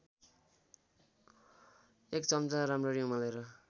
१ चम्चा राम्ररी उमालेर